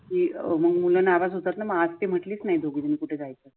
अह मग मूल नाराज होतात न मग ते आज ती म्हणटलीच नाही दोघी दोघी कुठे जायचं